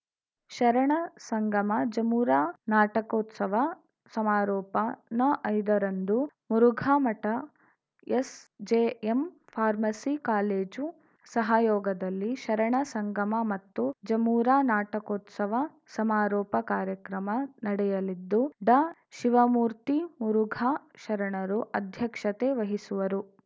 ಶರಣ ಸಂಗಮಜಮುರಾ ನಾಟಕೋತ್ಸವ ಸಮಾರೋಪ ನಐದ ರಂದು ಮುರುಘಾಮಠ ಎಸ್‌ಜೆಎಂ ಫಾರ್ಮಸಿ ಕಾಲೇಜು ಸಹಯೋಗದಲ್ಲಿ ಶರಣಸಂಗಮ ಮತ್ತು ಜಮುರಾ ನಾಟಕೋತ್ಸವ ಸಮಾರೋಪ ಕಾರ್ಯಕ್ರಮ ನಡೆಯಲಿದ್ದು ಡಾಶಿವಮೂರ್ತಿ ಮುರುಘಾ ಶರಣರು ಅಧ್ಯಕ್ಷತೆ ವಹಿಸುವರು